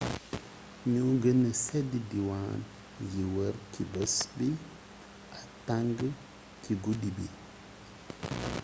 ño gene seed diwaan yi wër ci bés bi ak tang ci guddi bi